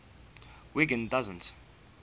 wiggin doesn t